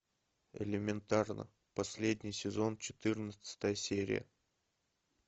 элементарно последний сезон четырнадцатая серия